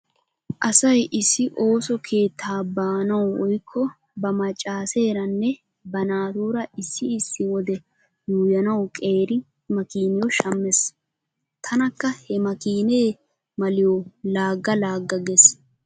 Asay issi ooso keettaa baanawu woykko ba maccaaseeranne ba naatuura issi issi wode yuuyyanawu qeeri makiiniyo shammees. Tanakka he makiinee maliyo laagga laagga gees.